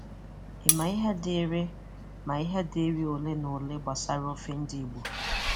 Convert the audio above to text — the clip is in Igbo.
Ị ma ihe dị́rị ma ihe dị́rị ole na ole gbasàrà ofè ndị Ìgbò?